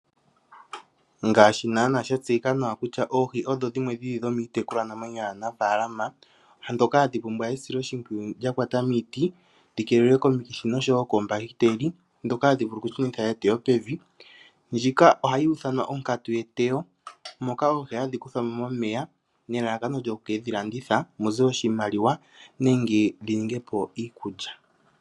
Ngaashi naana sha tseyika nawa kutya oohi odho dhimwe dhomiitekulwa namwenyo yaanafaalama mbyoka hayi pumbwa esiloshimpwiyu lya kwata miiti dhi keelelwe komikithi noshowo koombahiteli ndhoka hadhi vulu oku shunitha eteyo pevi . Ndjika ohayi ithanwa onkatu yeteyo moka oohi hadhi kuthwamo momeya nelalakano lyoku kedhi landitha mute oshimaliwa nenge liningepo iikulya